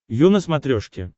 ю на смотрешке